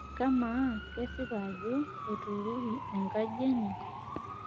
amaa kesipa ajo etuurori enkaji enye?